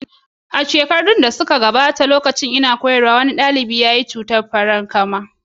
A shekaru da suka gabata, lokacin da nake koyarwa, wani ɗalibi ya zo makaranta da cutar farankama.